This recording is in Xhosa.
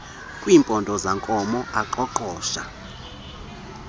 kumpondo zankomo aqoqosha